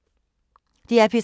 DR P3